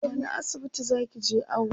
wani asibiti zakije awo?